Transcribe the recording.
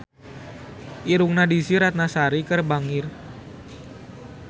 Irungna Desy Ratnasari bangir